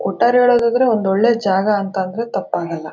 ಒಟ್ಟಾರೆ ಹೇಳೋದಾದ್ರೆ ಒಂದು ಒಳ್ಳೆ ಜಾಗ ಅಂತ ಹೆಳ್ದ್ರೆ ತಪ್ಪಾಗಲ್ಲ.